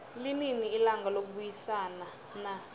linini ilanga lokubayisana na